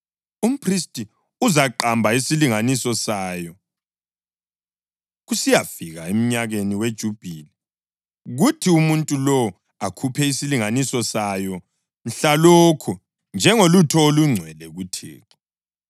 umphristi uzaqamba isilinganiso sayo kusiyafika emnyakeni weJubhili, kuthi umuntu lowo akhuphe isilinganiso sayo mhlalokho njengolutho olungcwele kuThixo.